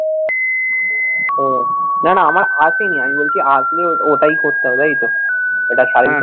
হম নানা আমার হাত দেয়নি আমি বলছি হাত দিলে ওটাই করতে হবে তাই তো ওটা service